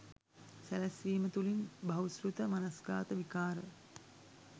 සැලැස්වීම තුළින් බහුශ්‍රැත මනස්ගාත විකාර